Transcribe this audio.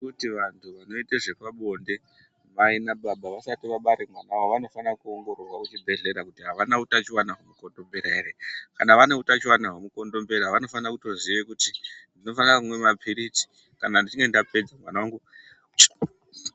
Kuti vanthu vanoite zve pabonde nababa vasati vabara mwana wavo, vanofane kuongororwa kuchibhedhlera kuti avana utachiwona hwemukondombera ere? Kana vane utachiwana wemukondombera vanofana kutoziya tinofane kutomwa maphirizi kana ndichinge ndapedza mwana wangu achengetedzeke.